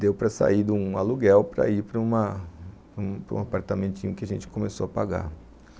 Deu para sair de um aluguel para ir para um apartamentinho que a gente começou a pagar.